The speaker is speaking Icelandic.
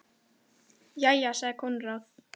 Jæja, sagði Konráð.